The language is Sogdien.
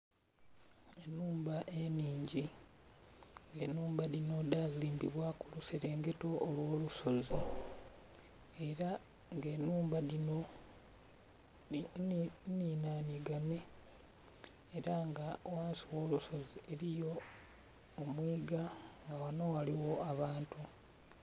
Enhumba enhingi nga enhumba dhino dhazimbibwa kuluserengeto olwolusozi era nga enhumba dhino nhinhandhiganye, era nga ghansi wolusozi eriyo omwiga nga wano ghaligho abantu.